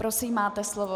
Prosím, máte slovo.